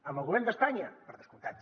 amb el govern d’espanya per descomptat